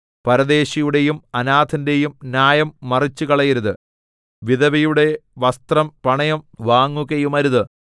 പരദേശിയുടെയും അനാഥന്റെയും ന്യായം മറിച്ചുകളയരുത് വിധവയുടെ വസ്ത്രം പണയം വാങ്ങുകയുമരുത്